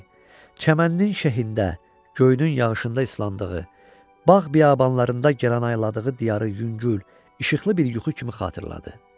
çəmənlinin şehində, göynün yağışında ıslandığı, bağ-biyabanlarında gəranayladığı diyarı yüngül, işıqlı bir yuxu kimi xatırladı.